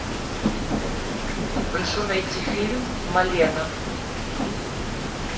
прошу найти фильм малена